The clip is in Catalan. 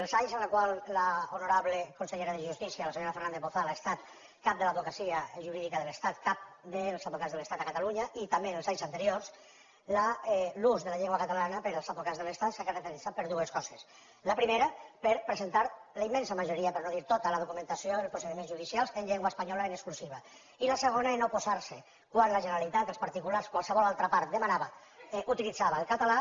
els anys en els quals l’honorable consellera de justícia la senyora fernández bozal ha estat cap de l’advocacia jurídica de l’estat cap dels advocats de l’estat a catalunya i també els anys anteriors l’ús de la llengua catalana pels advocats de l’estat s’ha caracteritzat per dues coses la primera per presentar la immensa majoria per no dir tota de la documentació dels procediments judicials en llengua espanyola en exclusiva i la segona per oposar se quan la generalitat els particulars qualsevol altra part utilitzava el català